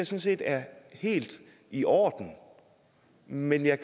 set er helt i orden men jeg